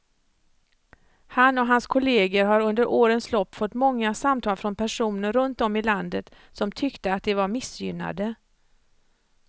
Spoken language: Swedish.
Han och hans kolleger har under årens lopp fått många samtal från personer runt om i landet som tyckte att de var missgynnade.